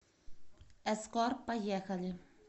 эскор поехали